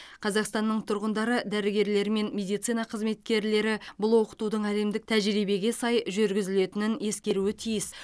қазақстанның тұрғындары дәрігерлері мен медицина қызметкерлері бұл оқытудың әлемдік тәжірибеге сай жүргізілетінін ескеруі тиіс